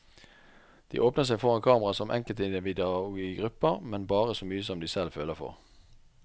De åpner seg foran kamera som enkeltindivider og i grupper, men bare så mye de selv føler for.